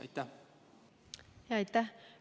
Aitäh!